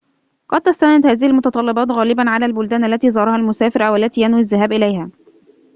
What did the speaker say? قد تستند هذه المتطلبات غالباً على البلدان التي زارها المسافر أو التي ينوي الذهاب إليها